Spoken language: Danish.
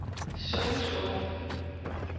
Suså